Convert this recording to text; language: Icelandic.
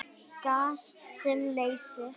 Gas sem leysir